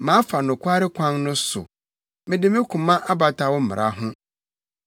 Mafa nokware kwan no so; mede me koma abata wo mmara ho.